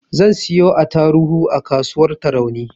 Zan siyo attaruhu a kasuwar tarauni